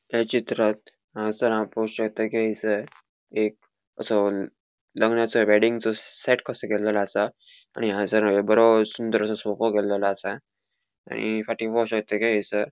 या चित्रांत हयसर हाव पोव शकता कि एसर एक असो हॉल लग्नासो वेडिंगचो सेट कसो केलोलो असा आणि हंगसर बोरो सुंदरसो सोफ़ा केलोलो असा आणि फाटी पोव शकता कि एसर --